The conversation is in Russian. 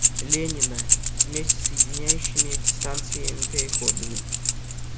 ленина вместе с соединяющими эти станции переходами